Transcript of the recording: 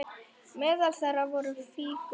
Meðal þeirra voru fígúrur úr